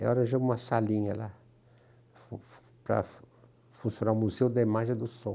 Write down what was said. Era uma salinha lá, para funcionar o Museu da Imagem e do Som.